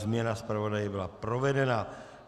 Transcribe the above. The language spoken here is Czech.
Změna zpravodaje byla provedena.